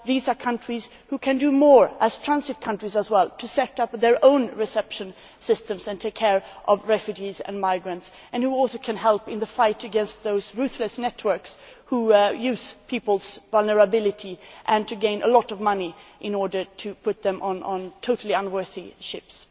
These are countries which can do more as transit countries in terms of setting up their own reception systems and taking care of refugees and migrants, and which also can help in the fight against those ruthless networks that use people's vulnerability and earn a lot of money in order to put them on totally unsuitable ships.